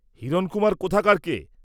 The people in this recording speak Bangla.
হিরণকুমার কোথাকার কে?